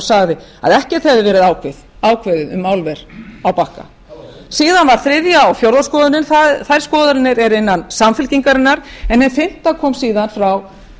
sagði að ekkert hefði verið ákveðið um álver á bakka síðan var þriðja og fjórða skoðunin þær skoðanir eru innan samfylkingarinnar en hin fimmta kom síðan frá